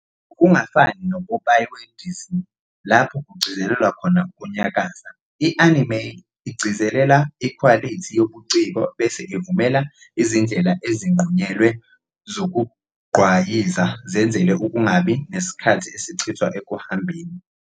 Ngokungafani nopopayi weDisney, lapho kugcizelelwa khona ukunyakaza, i-anime igcizelela ikhwalithi yobuciko bese ivumela izindlela ezinqunyelwe zokugqwayiza zenzele ukungabi nesikhathi esichithwa ekuhambeni.